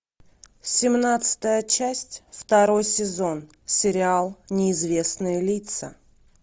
семнадцатая часть второй сезон сериал неизвестные лица